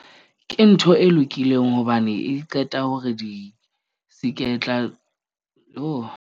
Ke ntho e lokileng hobane e qeta hore di se ke tla .